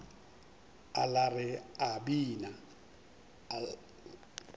a lla re a bina